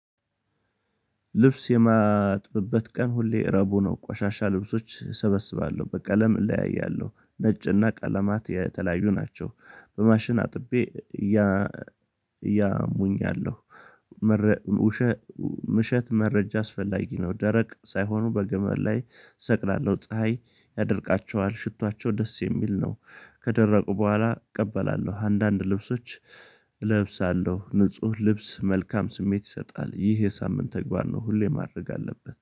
ልብስ የማጥበበት ቀን ሁሌ ረቡዕ ነው ቋሻሻ ልብሶች እሰበስባለሁ በቀለም እለያያለሁ ነጭና ቀለማት የተለያዩ ናቸው በማሽን አጥቤ እያሙኛለሁ። ምሸት መረጃ አስፈላጊ ነው። ደረቅ ሳይሆኑ በገመድ ላይ ሰቅላለሁ ፀሀይ ያደርቃቸዋል ሽቷቸው ደስ የሚል ነው። ከደረቁ በኋላ እቀበላለሁ። አንዳንድ ልብሶች እለብሳለሁ ንጹህ ልብስ መልካም ስሜት ይሰጣል። ይህ የሳምንት ተግባር ነው። ሁሌ ማድረግ አለበት